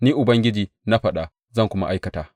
Ni Ubangiji na faɗa, zan kuma aikata.